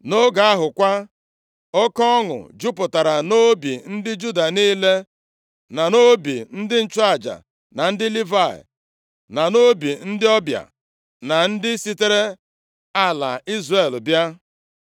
Nʼoge ahụ kwa, oke ọṅụ jupụtara nʼobi ndị Juda niile, na nʼobi ndị nchụaja na ndị Livayị, na nʼobi ndị ọbịa, na ndị sitere ala Izrel bịa.